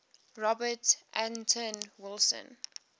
robert anton wilson